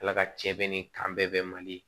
Ala ka cɛ bɛ ni kan bɛɛ bɛ mali ye